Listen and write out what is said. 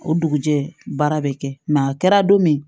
O dugujɛ baara bɛ kɛ a kɛra don min